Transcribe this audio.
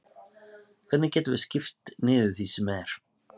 Hvernig getum við skipt niður því sem er?